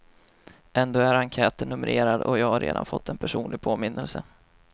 Ändå är enkäten numrerad och jag har redan fått en personlig påminnelse.